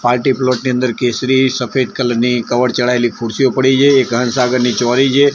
Party plot ની અંદર કેસરી સફેદ કલર ની કવર ચડાયેલી ખુરશીઓ પડી છે એ ઘરસાગરની ચોરી છે.